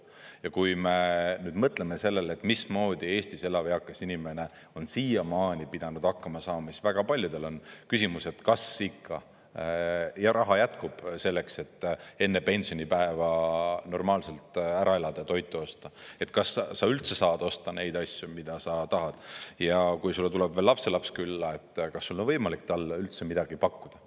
Ja kui me mõtleme sellele, mismoodi Eestis elav eakas inimene on siiamaani pidanud hakkama saama, siis väga paljudel küsimus, et kas ikka raha jätkub selleks, et enne pensionipäeva normaalselt ära elada ja toitu osta, kas sa üldse saad osta neid asju, mida sa tahad, ja kui sulle tuleb veel lapselaps külla, siis kas sul on võimalik talle üldse midagi pakkuda.